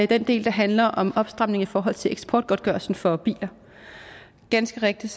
den del der handler om opstramning i forhold til eksportgodtgørelsen for biler ganske rigtigt